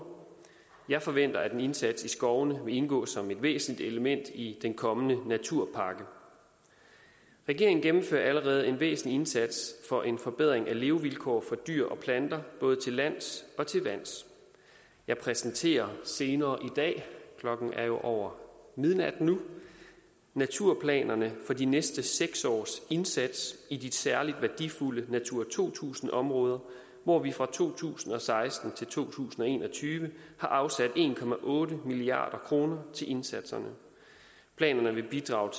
jeg forventer at en indsats i skovene vil indgå som et væsentligt element i den kommende naturpakke regeringen gennemfører allerede en væsentlig indsats for en forbedring af levevilkår for dyr og planter både til lands og til vands jeg præsenterer senere i dag klokken er jo over midnat nu naturplanerne for de næste seks års indsats i de særlig værdifulde natura to tusind områder hvor vi fra to tusind og seksten til to tusind og en og tyve har afsat en milliard kroner til indsatserne planerne vil bidrage